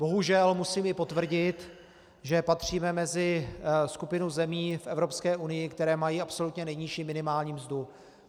Bohužel musím i potvrdit, že patříme mezi skupinu zemí v Evropské unii, které mají absolutně nejnižší minimální mzdu.